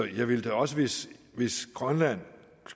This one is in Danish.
jeg ville da også hvis hvis grønland